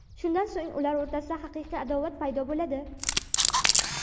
Shundan so‘ng ular o‘rtasida haqiqiy adovat paydo bo‘ladi.